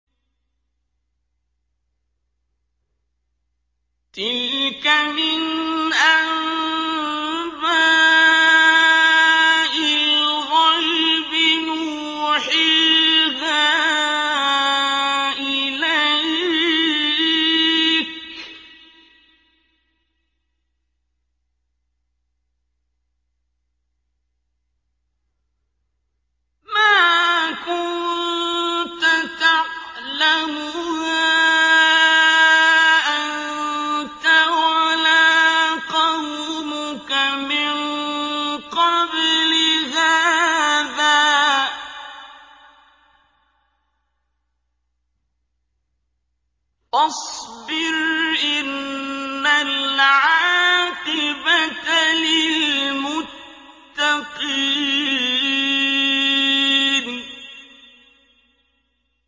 تِلْكَ مِنْ أَنبَاءِ الْغَيْبِ نُوحِيهَا إِلَيْكَ ۖ مَا كُنتَ تَعْلَمُهَا أَنتَ وَلَا قَوْمُكَ مِن قَبْلِ هَٰذَا ۖ فَاصْبِرْ ۖ إِنَّ الْعَاقِبَةَ لِلْمُتَّقِينَ